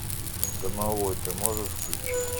домовой ты можешь включить